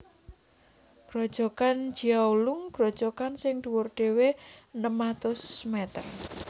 Grojogan Jiao Lung grojogan sing dhuwur dhéwé enem atus mèter